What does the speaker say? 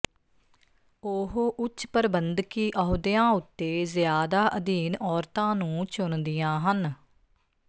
ਉਹ ਉੱਚ ਪ੍ਰਬੰਧਕੀ ਅਹੁਦਿਆਂ ਉੱਤੇ ਜ਼ਿਆਦਾ ਅਧੀਨ ਔਰਤਾਂ ਨੂੰ ਚੁਣਦੀਆਂ ਹਨ